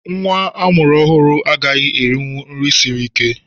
Nnwa a mụrụ ọhụrụ agaghị erinwu nri siri ike